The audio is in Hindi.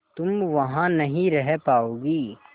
तुम वहां नहीं रह पाओगी